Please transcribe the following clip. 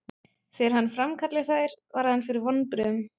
Þegar hann framkallaði þær varð hann fyrir vonbrigðum.